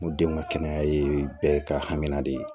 N ko denw ka kɛnɛya ye bɛɛ ka hamina de ye